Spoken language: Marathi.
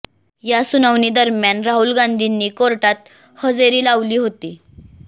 या सुनावणी दरम्यान राहुल गांधींनी कोर्टात हजेरी लावाली होती